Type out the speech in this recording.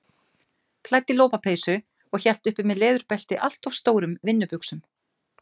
Klædd í lopapeysu og hélt uppi með leðurbelti allt of stórum vinnubuxum.